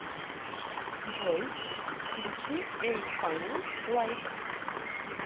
джой включи эль фаннинг лайтс